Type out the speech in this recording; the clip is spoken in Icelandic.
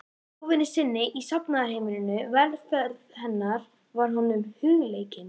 stofunni sinni í safnaðarheimilinu, velferð hennar var honum hugleikin.